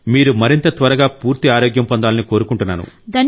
మీరు మరింత త్వరగా పూర్తి ఆరోగ్యం పొందాలని కోరుకుంటున్నాను